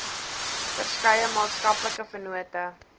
verskeie maatskaplike vennote